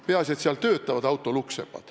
Peaasi, et seal töötavad autolukksepad.